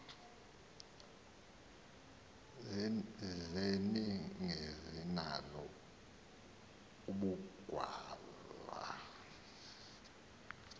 zeningezi nalo ubugwal